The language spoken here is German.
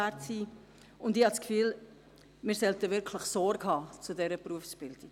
Ich habe das Gefühl, wir sollten wirklich Sorge tragen zu dieser Berufsbildung.